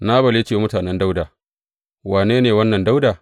Nabal ya ce wa mutanen Dawuda, Wane ne wannan Dawuda?